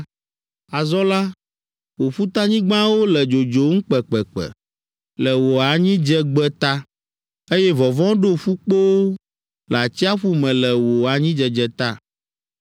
Azɔ la, wò ƒutanyigbawo le dzodzom kpekpekpe le wò anyidzegbe ta, eye vɔvɔ̃ ɖo ƒukpowo le atsiaƒu me le wò anyidzedze ta.’ ”